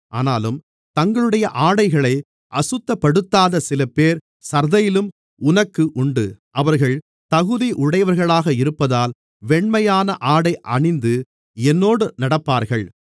ஆனாலும் தங்களுடைய ஆடைகளை அசுத்தப்படுத்தாத சிலபேர் சர்தையிலும் உனக்கு உண்டு அவர்கள் தகுதி உடையவர்களாக இருப்பதால் வெண்மையான ஆடை அணிந்து என்னோடு நடப்பார்கள்